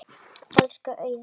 Elsku Auður.